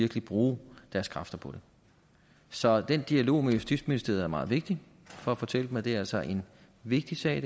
vil bruge deres kræfter på det så den dialog med justitsministeriet er meget vigtig for at fortælle dem at det her altså er en vigtig sag